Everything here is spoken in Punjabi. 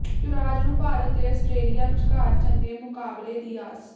ਯੁਵਰਾਜ ਨੂੰ ਭਾਰਤ ਤੇ ਆਸਟਰੇਲੀਆ ਵਿਚਕਾਰ ਚੰਗੇ ਮੁਕਾਬਲੇ ਦੀ ਆਸ